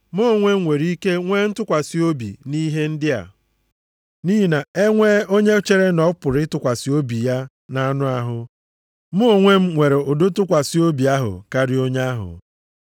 Mụ onwe m nwere ike nwee ntụkwasị obi nʼihe ndị a. Nʼihi na e nwee onye chere na ọ pụrụ ịtụkwasị obi ya nʼanụ ahụ, mụ onwe m nwere ụdị ntụkwasị obi ahụ karịa onye ahụ: